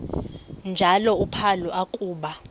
njalo uphalo akuba